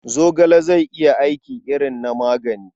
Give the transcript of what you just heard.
Zogale zai iya aiki irin na magani.